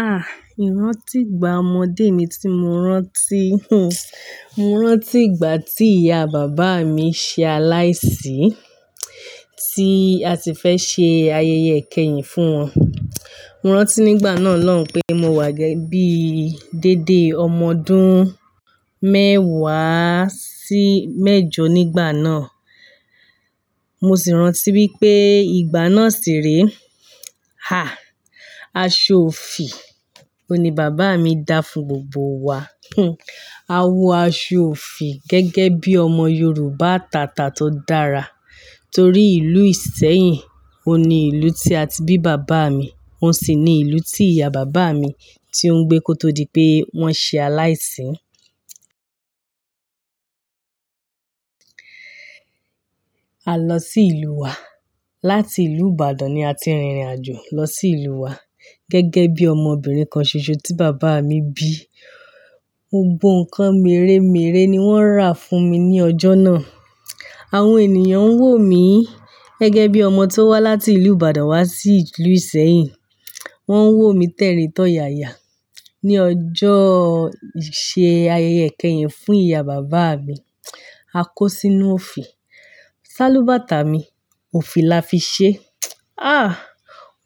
Ah! IRántí ìgbà ọmọdé mi tí mo rántí, mo rántí ìgbà tí ìyá bàbá mi ṣe aláìsí, tí a ti fẹ́ ṣe ayẹyẹ ìkẹyìn fún wọn. Mo rántí nígbà náà lọ́hùn pé mo wà gẹ́gẹ́ bí i dédé ọmọ ọdún mẹ́wàá sí mẹ́jọ nígbà náà. Mo sì rántí wípé ìgbà náà sì re, ah! Aṣọ òfì ni bàbá mi dá fún gbogbo wa. A wọ aṣọ òfì gẹ́gẹ́ bí i ọmọ Yorùbá tàtà tó dára, torí ìlú Ìsẹ́yìn òun ni ìlú tí a ti bí bàbá mi, òun sì ni ìlú tí ìyá bàbá mi ti ń gbé kó tó di pé wọ́n ṣe aláìsí. A lọ sí ìlú wa. Láti ìlú Ìbàdàn ni a ti rìnrìn-àjò lọ sí ìlú wa gẹ́gẹ́ bí i ọmọbìnrin kan ṣoṣo tí bàbá mi bí. Mo gbọ́ ǹkan mèremère ni wọ́n rà fún mi ní ọjọ́ náà. Àwọn ènìyàn ń wò mí gẹ́gẹ́ bí i ọmọ tó wá láti ìlú Ìbàdàn wá sí ìlú Ìsẹ́yìn. Wọ́n ń wò mí tẹ́rin tọ́yaya ní ọjọ́ ìṣe ayẹyẹ ìkẹyìn fún ìyá bàbá mi. A kó sínú òfì. Sálúbàtà mi, òfì la fi ṣe. Ah!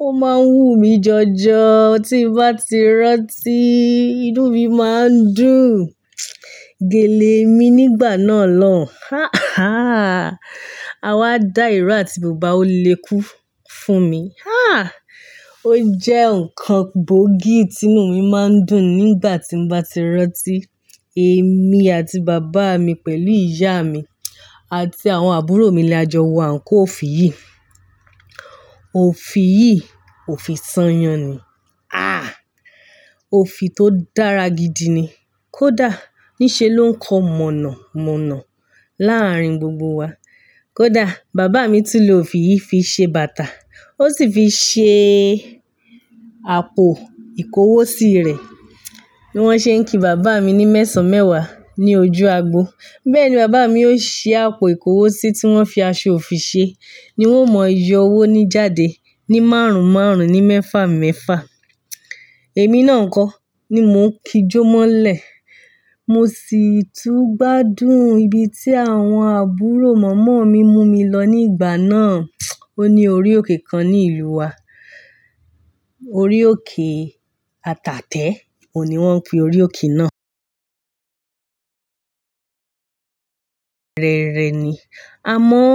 Ó máa ń wú mi jọjọ. Tí mo bá ti rántí, inú mi máa ń dùn. Gèlè mi nígbà náà lọ́hùn, ah! Ah! A wá dá ìró àti bùbá olékú fún mi. Ah! Ó jẹ́ ǹkan gbógi tí inú mi máa ń dùn nígbà tí mo bá ti rántí. Èmi àti bàbá mi pẹ̀lú ìyá mi àti àwọn àbúrò mi le jọ wọ àǹkóò òfì yìí. Òfì yìí, òfì sanyàn ni. Ah! Òfì tó dára gidi ni. Kódà ní ṣe ló ń kọ mọ̀nà mọ̀nà láàárín gbogbo wa. Kódà bàbá mi tún lò òfì yìí fi ṣe bàtà, ó sì fi ṣe àpò ìkówósi rẹ̀. Bí wọ́n ṣe ń kí bàbá mi ní mẹ́sàn-án mẹ́wàá ní ojú agbo. Bẹ́ẹ̀ ni bàbá mi ó ṣe àpò ìkówósi tí wọ́n fi aṣọ òfì ṣe ni wọ́n mọ ìyọ owó ní jáde ní márùn-ún márùn-ún ní mẹ́fà mẹ́fà. Èmi náà nkọ́ ni mò ń kijó mọ́lẹ̀. Mo sì tún gbádùn ibi tí àwọn àbúrò mọ̀mọ́ mi mú mi lọ ní ìgbà náà. Ó ní orí òkè kan ní ìlú wa. Orí òkè Atàtẹ̀ òun ni wọ́n ń pe orí òkè náà. Rẹrẹ ni. Àmọ́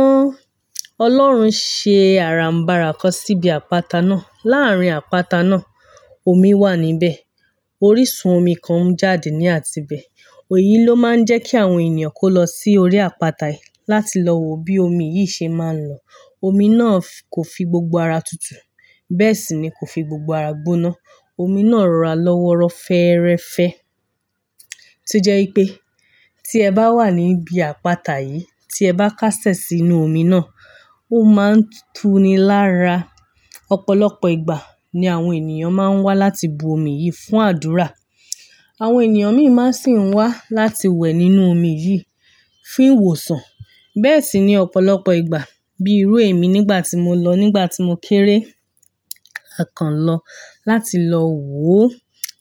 Ọlọ́run ṣe àràǹbàrà kan síbi àpáta náà. Láàárín àpáta náà, omi wà níbẹ̀. Orísun omi kan ń jáde ní àti ibẹ̀. Èyí ló máa ń jẹ́ kí àwọn ènìyàn kó lọ sí orí àpáta yìí láti lọ wo bí omi yìí ṣe máa ń lọ. Omi náà kò fi gbogbo ara tutù, bẹ́ẹ̀ sì ni kò fi gbogbo ara gbóná. Omi náà rọra lọ́wọ́rọ́ fẹ́ẹ́rẹ́fẹ́. Tó jẹ́ wípé tí ẹ bá wà níbi àpáta yìí, tí ẹ bá kásẹ̀ sínú omi náà, ó máa ń tú ni lára. Ọ̀pọ̀lọpọ̀ ìgbà ni àwọn ènìyàn máa ń wá láti bu omi yìí fún àdúrà. Àwọn ènìyàn mi máa sì ń wá láti wẹ̀ nínú omi yìí fún ìwòsàn. Bẹ́ẹ̀ sì ni ọ̀pọ̀lọpọ̀ ìgbà bíi irú èmi nígbà tí mo lọ nígbà tí mo kéré, a kan lọ láti lọ wo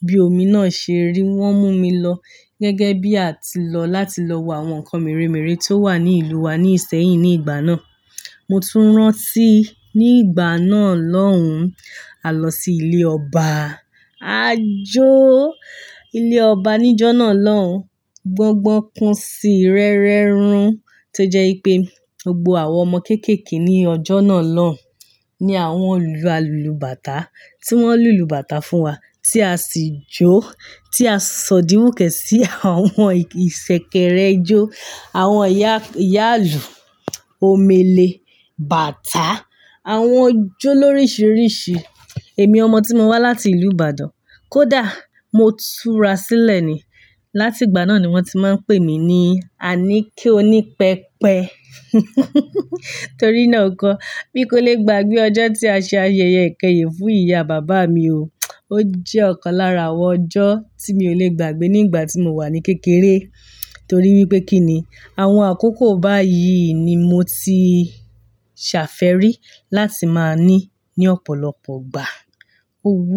bí omi náà ṣe rí. Wọ́n mú mi lọ gẹ́gẹ́ bí a ti lọ láti lọ wo àwọn ǹkan mèremère tó wà ní ìlú wa ní ìsẹ́yìn ní ìgbà náà. Mo tún rántí ní ìgbà náà lọ́hùn, a lọ sí ilé ọba. A jó ilé ọba níjọ́ náà lọ́hùn. Gbọ́ngbọ́n kun si, rẹ́rẹ́ run. To jẹ́ wipé gbogbo àwọn ọmọ kéékèèké ní ọjọ́ náà lọ́hùn ni àwọn lu alùlùbátà tí wọ́n lu lùbátà fún wa tí a sì jó, tí a sòdíwùkẹ̀ sí àwọn ìṣẹ̀kẹ̀rẹ̀ ijó, àwọn ìyá ìyáàlù, omele, bàtà, àwọn jó lórisìíríṣìí. Èmi ọmọ tí mo wá láti ìlú Ìbàdàn. Kódà mo túra sílẹ̀ ni. Láti ìgbà náà ni wọ́n ti máa ń pè mí ní "Àníkẹ́ oní pẹpẹ". Torí náà kọ́, bí kò lè gbàgbé ọjọ́ tí a ṣe ayẹyẹ ìkẹyìn fún ìyá bàbá mi o. Ó jẹ́ ọ̀kan lára àwọn ọjọ́ tí mi ò lè gbàgbé nígbà tí mo wà ní kékeré, torí wípé kín ni àwọn àkókò báyìí ni mo ti ṣàfẹ́rí láti máa ní ní ọ̀pọ̀lọpọ̀ ìgbà. Ó wú.